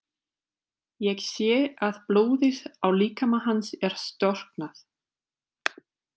Ég sé að blóðið á líkama hans er storknað.